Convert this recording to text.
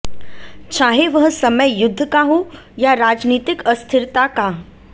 चाहे वह समय युद्ध का हो या राजनीतिक अस्थिरता का